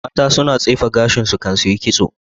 Mata su na tsefe gashin su kan suyi ƙitso